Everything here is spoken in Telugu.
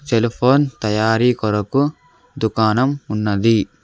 సెల్ ఫోన్ తయారీ కొరకు దుకాణం ఉన్నది.